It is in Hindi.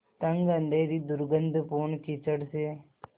तंग अँधेरी दुर्गन्धपूर्ण कीचड़ से